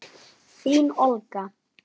Þín Olga.